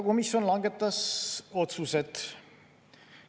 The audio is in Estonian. Komisjon langetas otsused.